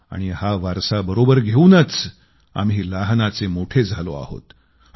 आणि हा वारसा बरोबर घेवूनच आम्ही लहानाचे मोठे झालो आहोत